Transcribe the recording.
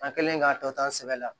An kɛlen k'a tɔ ta an sɛbɛ la